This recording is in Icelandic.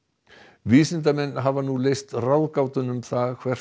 vísindamenn hafa nú leyst ráðgátuna um það hvert